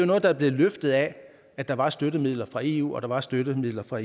noget der er blevet løftet af at der var støttemidler fra eu og at der var støttemidler fra